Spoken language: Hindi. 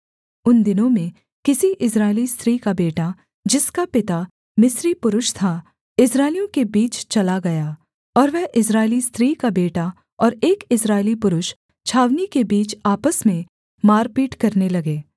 उन दिनों में किसी इस्राएली स्त्री का बेटा जिसका पिता मिस्री पुरुष था इस्राएलियों के बीच चला गया और वह इस्राएली स्त्री का बेटा और एक इस्राएली पुरुष छावनी के बीच आपस में मारपीट करने लगे